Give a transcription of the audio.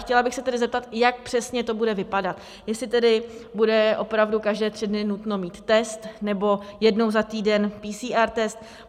Chtěla bych se tedy zeptat, jak přesně to bude vypadat, jestli tedy bude opravdu každé tři dny nutno mít test nebo jednou za týden PCR test.